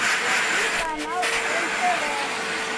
найти канал нтв